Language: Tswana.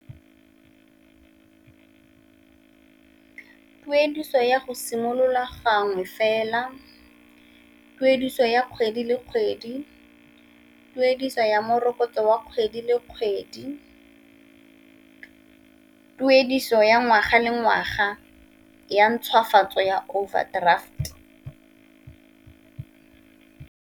Tuediso ya go simolola gangwe fela, tuediso ya kgwedi le kgwedi, tuediso ya morokotso wa kgwedi le kgwedi, tuediso ya ngwaga le ngwaga ya ntshwafatso ya overdraft.